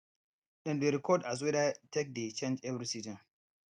dem dey record as weather take dey change every season